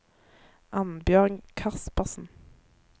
Annbjørg Kaspersen